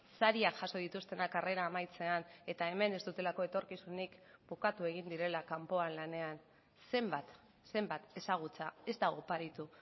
sariak jaso dituztenak karrera amaitzean eta hemen ez dutelako etorkizunik bukatu egin direla kanpoan lanean zenbat zenbat ezagutza ez da oparitu